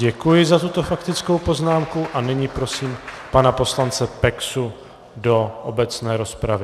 Děkuji za tuto faktickou poznámku a nyní prosím pana poslance Peksu do obecné rozpravy.